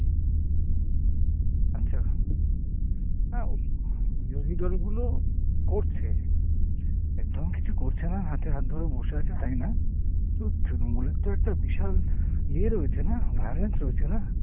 আচ্ছা, হ্যাঁ বিরোধী দলগুলো করছে। একদম কিছু করছে না হাতে হাত ধরে বসে আছে তাই না। কিন্তু তৃণমূলের তো একটা বিশাল ইয়ে রয়েছে না violence রয়েছে না।